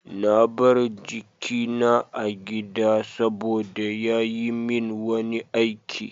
Na bar jikina a gida saboda ya yi min wani aiki.